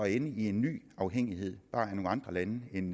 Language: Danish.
ende i en ny afhængighed bare af nogle andre lande end